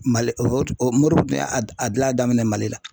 Mali ɔ morobo dun y'a dilan daminɛ mali la